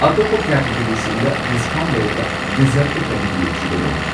ꯑꯇꯣꯞꯄ ꯀꯦꯇꯒꯔꯤꯁꯤꯡꯗ ꯗꯤꯁꯀꯥꯎꯟꯠ ꯂꯩꯔꯒ ꯗꯤꯖꯔꯠꯇ ꯀꯔꯤꯒꯤ ꯂꯩꯇ꯭ꯔꯤꯕꯅꯣ?